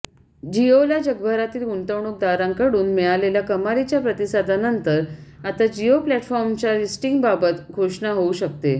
जिओला जगभरातील गुंतवणूकदारांकडून मिळालेल्या कमालीच्या प्रतिसादानंतर आता जिओ प्लॅटफॉर्मच्या लिस्टिंगबाबत घोषमा होऊ शकते